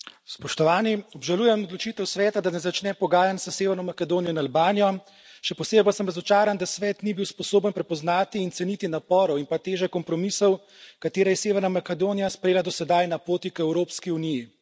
Spoštovani predsednik, obžalujem odločitev Sveta, da ne začne pogajanj s Severno Makedonijo in Albanijo, še posebej pa sem razočaran, da Svet ni bil sposoben prepoznati in ceniti naporov in pa teže kompromisov, katere je Severna Makedonija sprejela do sedaj na poti k Evropski uniji.